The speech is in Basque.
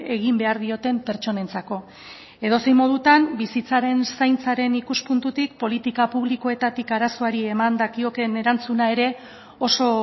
egin behar dioten pertsonentzako edozein modutan bizitzaren zaintzaren ikuspuntutik politika publikoetatik arazoari eman dakiokeen erantzuna ere oso